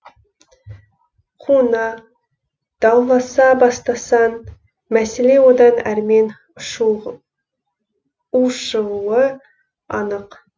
қуына дауласа бастасаң мәселе одан әрмен ушығуы анық